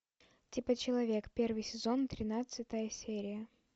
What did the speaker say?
типа человек первый сезон тринадцатая серия